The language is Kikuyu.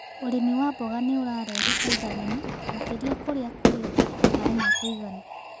Ũrĩmi wa mboga nĩ ũrarehe faida nene makĩria kũria kuri maĩ ma kuigana